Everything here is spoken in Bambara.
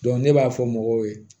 ne b'a fɔ mɔgɔw ye